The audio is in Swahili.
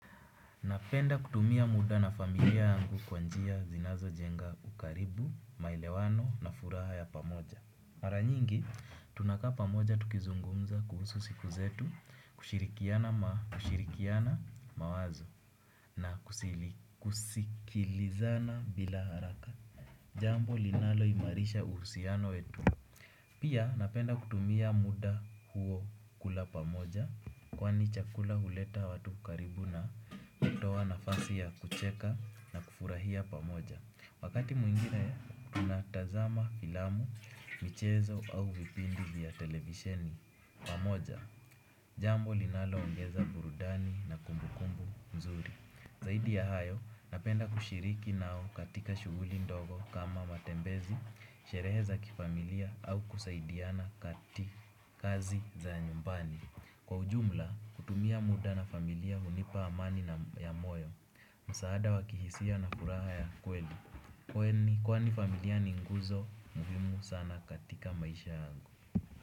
Napenda kutumia muda na familia yangu kwa njia zinazo jenga ukaribu, maelewano na furaha ya pamoja. Mara nyingi, tunakaa pamoja tukizungumza kuhusu siku zetu, kushirikiana mawazo na kusikilizana bila haraka. Jambo linalo imarisha uhusiano wetu. Pia napenda kutumia muda huo kula pamoja kwani chakula huleta watu karibu na kutoa nafasi ya kucheka na kufurahia pamoja. Wakati mwingine, tunatazama filamu, michezo au vipindi vya televisheni pamoja, jambo linalo ongeza burudani na kumbukumbu nzuri. Zaidi ya hayo, napenda kushiriki nao katika shuguli ndogo kama matembezi, sherehe za kifamilia au kusaidiana kati kazi za nyumbani. Kwa ujumla, kutumia muda na familia hunipa amani na ya moyo, msaada wa kihisia na furaha ya kweli. Kwani, kwani familia ni nguzo, muhimu sana katika maisha yangu.